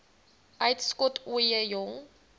uitskot ooie jong